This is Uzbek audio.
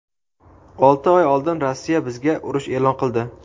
Olti oy oldin Rossiya bizga urush e’lon qildi.